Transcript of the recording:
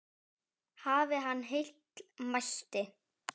Hafi hann heill mælt.